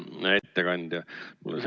Hea ettekandja!